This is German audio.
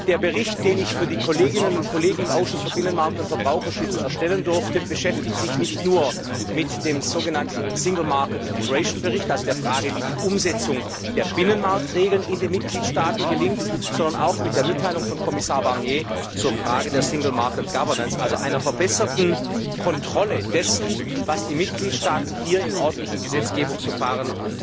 Der Bericht, den ich für die Kolleginnen und Kollegen im Ausschuss für Binnenmarkt und Verbraucherschutz erstellen durfte, beschäftigt sich nicht nur mit dem sogenannten Bericht über den Stand der Binnenmarktintegration, also der Frage, wie die Umsetzung der Binnenmarktregeln in den Mitgliedstaaten gelingt, sondern auch mit der Mitteilung von Kommissar Barnier zur Frage der Governance im Binnenmarkt, also einer verbesserten Kontrolle dessen, was die Mitgliedstaaten hier im ordentlichen Gesetzgebungsverfahren